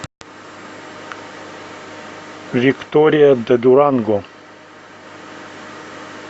виктория де дуранго